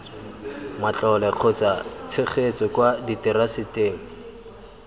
matlole kgotsa tshegetso kwa diteraseteng